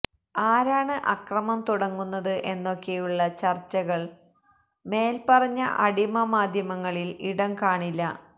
ആരാണ് അക്രമം തുടങ്ങുന്നത് എന്നൊക്കെയുള്ള ചര്ച്ചകള്ക്ക് മേല്പറഞ്ഞ അടിമ മാധ്യമങ്ങളില് ഇടം കാണില്ല